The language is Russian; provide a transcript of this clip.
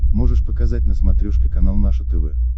можешь показать на смотрешке канал наше тв